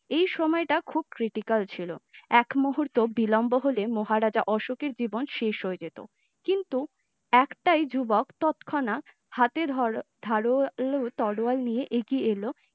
এই সময় টা খুব critical ছিল, একমুহূর্ত বিলম্ব হলে মহারাজ অশোকের জীবন শেষ হয়ে যেতো, কিন্তু একটাই যুবক ততক্ষণাত্ হাতে ধরা ধারালো তরোয়াল লিয়ে আগই আলো ।